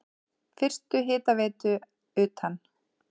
Fyrstu hitaveitu utan